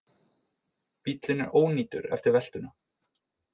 Bíllinn er ónýtur eftir veltuna